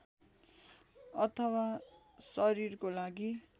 अथवा शरीरको लागि